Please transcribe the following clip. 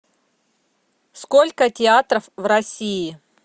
сколько театров в россии